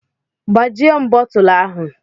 Gbajie m bottulu ahụ.